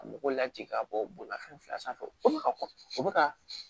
Ka mɔgɔw lajigin ka bɔ bolimafɛn fila sanfɛ o bɛ ka kɔkɔ o bɛ ka